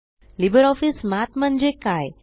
LibreOffice Math म्हणजे काय